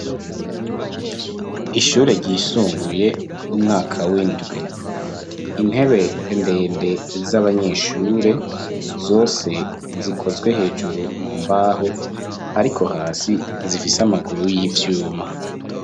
Ishure ryisumbuye umwaka w'indwe intebe ndende z'abanyeshure zose zikozwe hejuru mu mbaho ariko hasi zifise amaguru y'ivyuma.